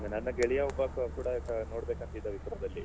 ಅದೇ ನನ್ನ ಗೆಳೆಯ ಒಬ್ಬ ಕೂಡ ನೋಡಬೇಕಂತಿದ್ದ Wipro ದಲ್ಲಿ.